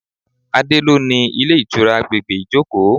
Adé lo ni ilé ìtura àgbègbè Ijoko.